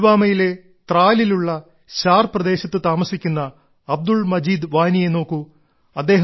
പുൽവാമയിലെ ത്രാലിലുള്ള ശാർ പ്രദേശത്ത് താമസിക്കുന്ന അബ്ദുൾ മജീദ് വാനിയെ നോക്കൂ